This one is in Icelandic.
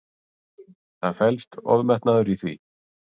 Það felst ofmetnaður í því.